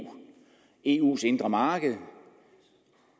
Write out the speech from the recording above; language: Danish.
eus indre marked